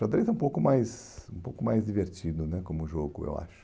Xadrez é um pouco mais um pouco mais divertido né como jogo, eu acho.